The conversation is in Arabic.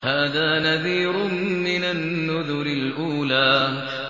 هَٰذَا نَذِيرٌ مِّنَ النُّذُرِ الْأُولَىٰ